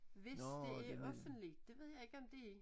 Hvis det er offentlig det ved jeg ikke om det er